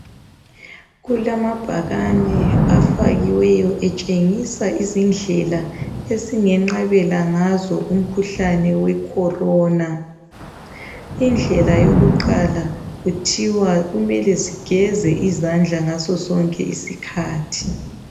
Kulamabhakani afakiweyo etshengisa izindlela esingenqabela ngazo umkhuhlane wekhorona. Indlela yokuqala kuthiwa kumele sigeze izandla ngasosonke isikhathi.